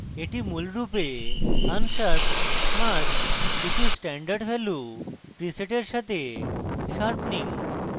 এটি মূলরূপে unsharped mask কিছু standard ভ্যালু প্রিসেটের সাথে sharpening